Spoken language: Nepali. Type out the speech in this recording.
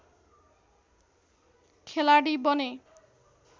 खेलाडी बने